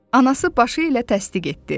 Anası başı ilə təsdiq etdi.